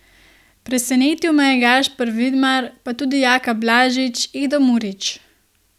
Presenetil me je Gašper Vidmar, pa tudi Jaka Blažič, Edo Murić ...